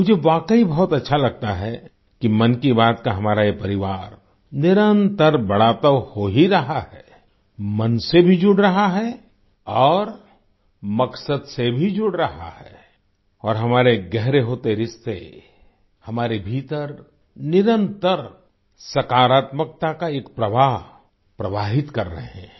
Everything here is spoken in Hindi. मुझे वाकई बहुत अच्छा लगता है कि मन की बात का हमारा ये परिवार निरंतर बड़ा तो हो ही रहा है मन से भी जुड़ रहा है और मकसद से भी जुड़ रहा है और हमारे गहरे होते रिश्ते हमारे भीतर निरंतर सकारत्मकता का एक प्रवाह प्रवाहित कर रहे हैं